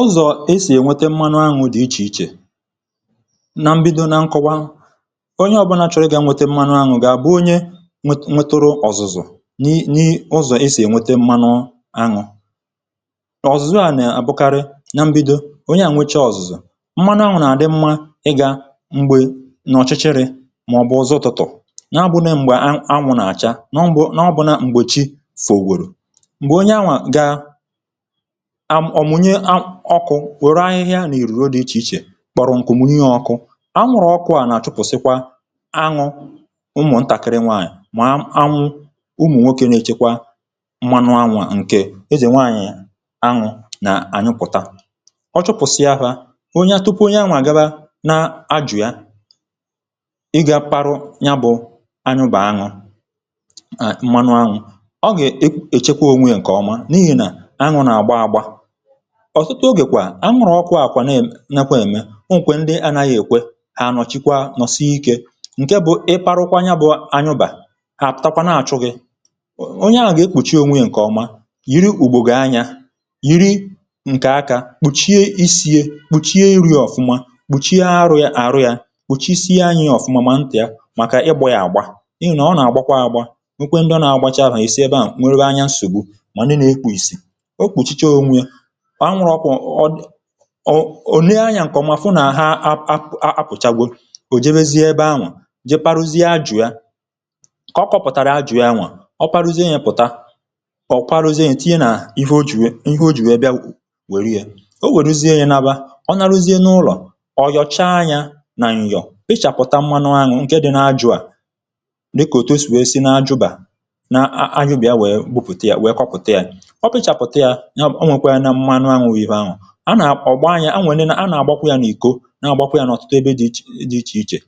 Ụzọ̀ esì ènwete mmanụ aṅụ̇ dị̀ ichè ichè. Na mbido na nkọwa, onye ọbụna chọrọ ịgà nwete mmanụ aṅụ̇ ga-àbụ onye nweturu ọ̀zụ̀zụ̀ ni... n’ụzọ̀ esì ènwete mmanụ aṅụ̇. Ọ̀zụ̀zụ̀ a nà-àbụkarị na mbido. Onye à nwechaa ọ̀zụ̀zụ̀, mmanụ aṅụ̇ nà-àdị mmȧ ịgà mgbè n’ọ̀chịchịrị̇ mà ọ̀ bụ ụzọ̇-utụtù, na ábụ̇na m̀gbè aṅụ̇ nà-àcha, na ọbụna m̀gbe chi fògwòrò, ọ̀ mụnye ọkụ̇ wère ahịhịa nà ìrùrù dị̇ ichè ichè, kpọrọ̀ ǹkù, mụnye ya ọ̇kụ̇. Aṅụ̇rọ̀ ọkụ̀ a nà-àchụpụ̀sịkwa aṅụ̇ ụmụ̀ ntàkịrị nwaànyị̀, mà aṅụ̇ ụmụ̀ nwokė nà-èchekwa mmanụ aṅụ̇ a ǹkè ezè nwaànyị̀. Aṅụ̇ nà-ànyụpụ̀ta, ọ chụpụ̀sịafà onye à, tupu onye aṅụ̇ à gaba nà-ajù ya ịgà pȧrụ̇ nya bụ̇ anụbà aṅụ̇. Mmanụ aṅụ̇ ọ ga-èchekwa ònwe ǹkè ọma n’ihì nà aṅụ̇ nà-àgba agba. Ọ̀tụtụ ogèkwà aṅụrụ̇ ọkụ̇ àkwa na-enekwa ème. O nwekwè ndị anaghị̇ èkwe ànọ̀ chikwa nọsịe ikė ǹke bụ̇ ịparụkwa aṅụ̀ ya bụ̀ aṅụbà, àtakwa, aputakwa. Na-àchụghị̇ onye ahụ̀, ọ ga-ekpùchi onwe ya ǹkè ọma: yiri ùgbògbe àanyȧ, yiri ǹkè aka, kpùchie isi̇i̇, kpùchie iri̇ ọ̀fụma, kpùchie arụ̇ yȧ, arụ̇ yȧ, kpùchie isi aṅụ̇ ọ̀fụma, mà ntị̀a màkà ịgbọ ya àgba, n’ihi na ọ nà-àgbakwa àgba. Nke ndị ọ nà-àgbacha àhà ìsii. Ebe à nwere aṅụ̀ nsògbu. Mà ndị nà-ekwu̇ ìsì, òkpuchi ia onwe ya òne ányà ǹkè ọ̀mà fụ. Nà àha apụ̀chagbo, ò je bezie ebe aṅụ̀ a je parụzie ajụ̀ ya, kà o kọ̀pụ̀tàrà ajụ̇ ya, nwà ọ parụzie ya, pụ̀ta kà ọ kparụzie ya. Ìtinye nà ihe o jù, ihe o jù ebe ya wère ye, o wèruzie ya nabà, ọ nàrụzie n’ụlọ̀, ọ̀ yọ̀chaa ya nà ǹyọ̀, pịchàpụ̀ta mmȧnụ aṅyụ̇ ǹkè dị nà ajụ̇, a dịkà òtó sù e si n’ajụ̇bà nà ajụ̇bì a wèe gwupùte ya, wèe kọpụ̀ta ya. A nà-ọ̀gba ànyȧ a nwèrè, nà a nà-àgbakwa yȧ nà iko, nà-àgbakwa yȧ n’ọ̀tụtụ ebe dị̇ dị̇ ichè ichè.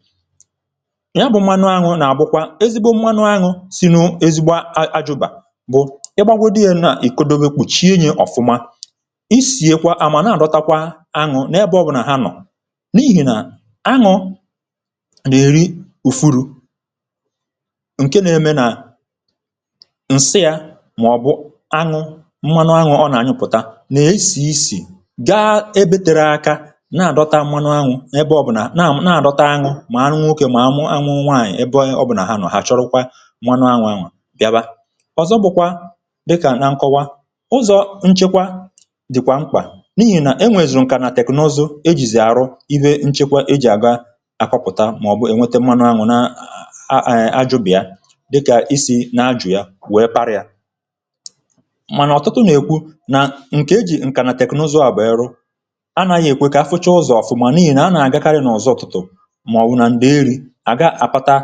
Ya bụ̇ mmanụ aṅụ̇ nà-àbụkwa ezigbo mmanụ aṅụ̇. Sị̀ nù, ezigbo ajụ̇bà bụ̀ ị gbagwȧ dị yȧ nà ì kodom èkpùchie nye ọ̀fụma. Isì ekwa à mà na-àdọtakwa aṅụ̇ nà ya bụ̇ ọ̀bụ̀ nà ha nọ̀, n’ihì nà aṅụ nà-èri ụ̀fụrụ̇ ǹke nà-émé nà ǹsiȧ mà ọ̀ bụ̀ aṅụ̇, mmanụ aṅụ̇ ọ nà-ànyụpụ̀ta ga ebėtere akȧ nà-àdọta mmanụ aṅụ̇ ebe ọ̀ bụ̀ nà nà-àdọta aṅụ̇ mà anụ nwokė mà mụ aṅụ nwaanyị̀ ebe ọ̀ bụ̀ nà ha nọ̀, hà chọrụkwa mmanụ aṅụ̇. Aṅụ̀ a gịaba ọ̀zọ bụkwa dịkà na nkọwa ụzọ̇ nchekwa dị̀kwà mkpà. N’ihì nà enwèzù nkà nà tèknọzu ejizì arụ, iwe nchekwa ejì àga akọpụ̀ta mà ọ̀ bụ̀ enwete mmanụ aṅụ̇ nà ajụbì ya, dịkà isì nà-ajụ̀ ya wee parịa. Ànà yà èkwe ka a fụchaa ụzọ̀ ọfụma. N’ihì nà aṅụ̀ nà-àgakarị n’ọzọ ọ̀tụtụ̀, ma ọ̀ wụ̀ nà ndị erì àga àpata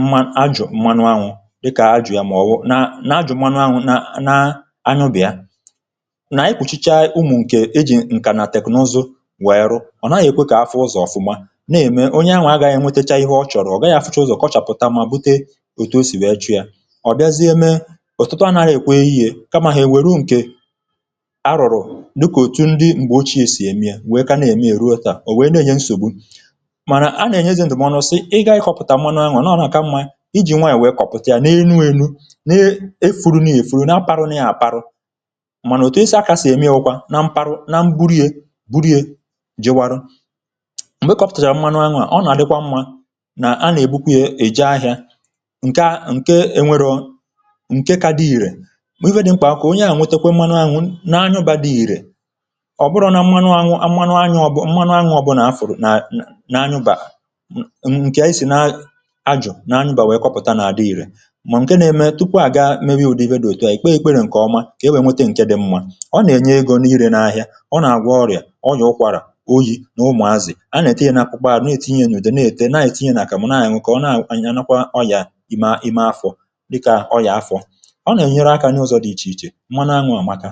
mmȧ ajụ̀ mmanụ aṅụ̇, dịkà ajụ̀ yà ma ọ̀ wụ na ajụ̀ mmanụ aṅụ̇. Nà na aṅụbà ya nà anyị kpùchicha ụmụ̀ ǹkè ejì ǹkà nà tèknụzụ wèe rụ̀, ọ̀ naghị̇ èkwe ka afụ ụzọ̀ ọfụma, na-ème onye aṅụ̇ agàghị̇ ènwetacha ihe ọ chọ̀rọ̀. Ọ gaghị̇ a fụchaa ụzọ̀, kọchàpụ̀ta mà bute ètù o sì wèe chọ̀ọ̀ yȧ. Ọ̀ bịazie mee ọ̀tụtụ aṅụ̀ ga èkwe yi, e... kama hà e wèe ruo ǹkè m̀gbè ochie sì èmié wèe ka na-ème, èruo tà, ò wèe na-ènye nsògbu. Mànà a na-ènyezị̇ndụ̀ m̀wanụ sị ịgà ịkọ̇pụ̀tà mmanụ aṅụọ̇ nà ọ na-àka mmȧ iji̇ nwaànyị̀ wèe kọ̀pụta yȧ n’enu, wèe nu na-efùrù nà èfùrù na-apȧrụ na-àpara. Mànà òtù esi akà sì èmié bụ̇kwa nà mpȧrụ na mburie burie jịwara m̀gbè kọ̀pụ̀tàrà mmanụ aṅụ à. Ọ nà-àdịkwa mmȧ nà a nà-èbukwa yȧ èje ahịȧ ǹka ǹke nwere ọ̀ ǹke ka dị ìrè, mà uwe dị̇ m̀kpà a ka onye à nwetekwe mmanụ aṅụ̇ nà ahụbȧ dị ìrè. Ọ̀ bụrọ̇ na mmanụ aṅụa, ọ̀ bụ̀ mmanụ aṅụa. Ọ̀ bụ̀ nà afụ̀rụ̀ nà nà aṅụbà ǹkè anyị sì nà ajọ̀ nà aṅụbà wèe kọpụ̀ta nà-adị ìrè. Mà ǹke na-eme tupu à ga-emė ụ̇dị iwe dị òtù, aṅyị̀ kpee ìkpere ǹkè ọma kà e wèe nwete ǹke dị̀ mmȧ. Ọ nà-ènye egȯ n’irė n’ahịa. Ọ nà-àgwụ ọrịà ọya ụkwàrà oyi̇ nà umù azị̀. A na-ètinye nà n’akwụkwọ à, n’o ètinye òdè na-ète, nà ètinye nà àkàmụ̀ nà ȧnyụ̇ kà ọ na-ànyị̇. A nà-akwá ọyà ị̀ma ị̀ma afọ̀ dịkà ọyà afọ̀. Ọ nà-ènyere akȧ nye ụzọ̇ dị ịchè ịchè mmanụ aṅụ àmaka.